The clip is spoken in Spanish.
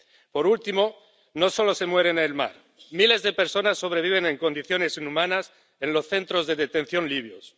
Por último, no solo se muere en el mar miles de personas sobreviven en condiciones inhumanas en los centros de detención libios.